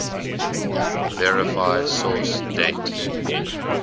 verify source date